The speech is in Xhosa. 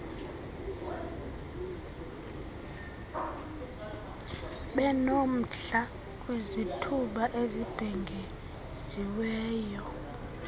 benomdla kwizithuba ezibhengeziweyo